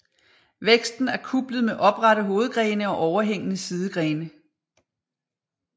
Væksten er kuplet med oprette hovedgrene og overhængende sidegrene